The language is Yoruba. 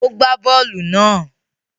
O gba bóòlù náà.